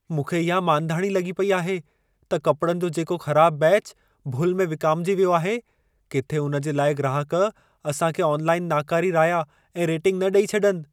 मूंखे इहा मांधाणी लॻी पेई आहे त कपिड़नि जो जेको ख़राबु बेच भुल में विकामिजी वियो आहे, किथे उन जे लाइ ग्राहक असां खे ऑनलाइन नाकारी राया ऐं रेटिंग न ॾेई छॾनि।